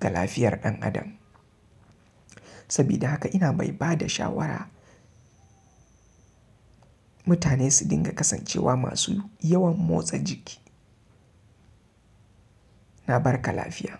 ga lafiyar ɗan adam. Sabida haka ina mai ba da shawara mutane su dinga kasancewa masu yawan motsa jiki. Na barka lafiya.